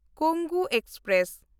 Kongu express